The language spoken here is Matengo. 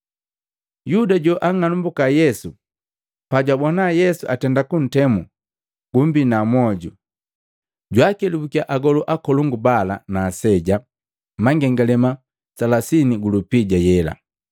Yuda, joang'anambuka Yesu, pajwabona Yesu atenda kuntemu, gumbina mwoju, jwaakelabukia agolu akolongu bala na aseja, mangengalema makomi matatu gulupija yela.